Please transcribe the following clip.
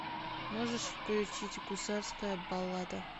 можешь включить гусарская баллада